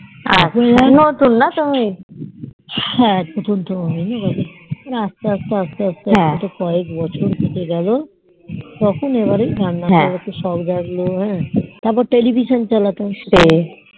আচ্ছা হ্যা নতুন তো আস্তে আস্তে আস্তে আস্তে এইভাবে কয়েক বছর কেটে গেলো তখন এবারে রান্নার করার একটু শখ জাগলো হ্যা তারপর Television চালাতাম